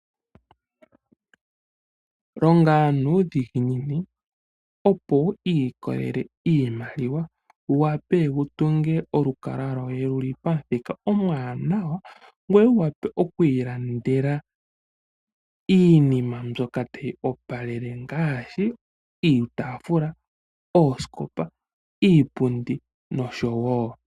Longa nuudhigini, opo wu ilikolele iimaliwa wu wape wu tunge olukalwa lwoye lu li pamuthika omuwanawa, ngoye wu wape oku ilandela iinima mbyoka tayi opalele ngaashi iitaafula, oosikopa, iipundi nosho tuu.